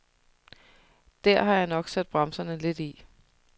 Der har jeg nok sat bremserne lidt i.